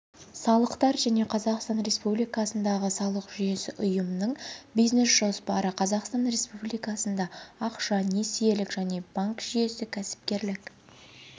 салықтар және қазақстан республикасындағы салық жүйесі ұйымның бизнес-жоспары қазақстан республикасында ақша несиелік және банк жүйесі кәсіпкерлік